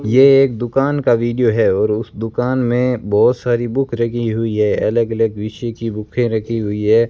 ये एक दुकान का वीडियो है और उस दुकान में बहोत सारी बुक रखी हुई है अलग अलग विषय की बुके रखी हुई है।